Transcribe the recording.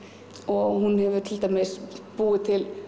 hún hefur til dæmis búið til